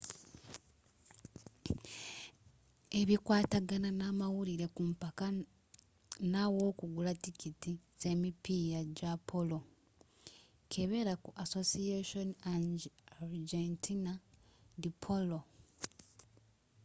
ebikwatagana namawulire ku mpaka n'awokugula tikiti zemipiira gya polo kebera ku asociacion argentina de polo